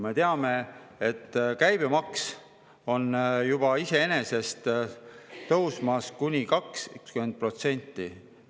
Me teame, et käibemaks on juba tõusmas kuni 20%.